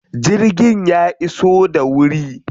Jirgin ya iso da wuri?